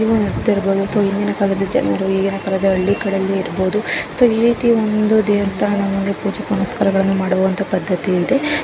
So ಹಿಂದಿನ ಕಾಲದ ಜನರು ಈಗಿನ ಕಾಲದ ಇರಬಹುದು ಸೂ ಈ ರೀತಿ ಒಂದು ದೇವಸ್ಥಾನದಲ್ಲಿ ಪೂಜೆ ಪುನಸ್ಕಾರ ಮಾಡುವ ಪದ್ಧತಿ ಇದೆ .